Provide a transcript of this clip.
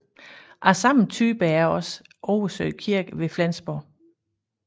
Af samme type er også Oversø Kirke ved Flensborg